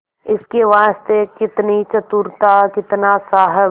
इसके वास्ते कितनी चतुरता कितना साहब